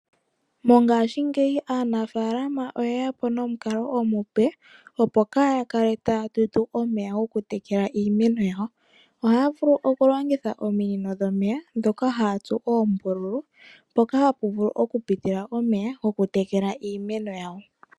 Mongashingeyi aanafaalama oye ya po nomukalo omupe opo kaa ya kale ta ya tutu omeya ya tekele iimeno yawo. Ohaya vulu oku longitha ominino dhomeya dhoka ha ya tsu uumbululu, opo pu pitile omeya goku tekela iimeno yawo.